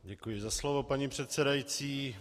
Děkuji za slovo, paní předsedající.